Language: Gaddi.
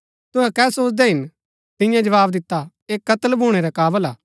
तुहै कै सोचदै हिन तियें जवाव दिता ऐह कत्‍ल भूणै रै काबल हा